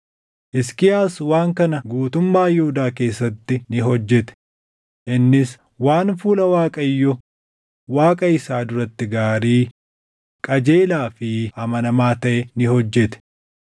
Hisqiyaas waan kana guutummaa Yihuudaa keessatti ni hojjete; innis waan fuula Waaqayyo Waaqa isaa duratti gaarii, qajeelaa fi amanamaa taʼe ni hojjete.